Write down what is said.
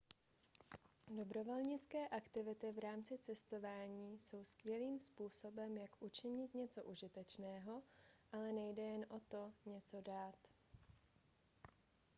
dobrovolnické aktivity v rámci cestování jsou skvělým způsobem jak učinit něco užitečného ale nejde jen o to něco dát